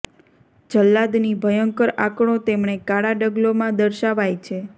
જલ્લાદની ભયંકર આંકડો તેમણે કાળા ડગલો માં દર્શાવાય છે